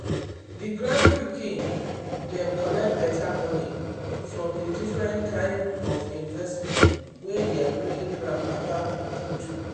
the grand pikin dem collect better money from the different kind of investment wey their great-grandpapa do.